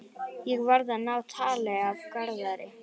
Ég verð að ná tali af Garðari.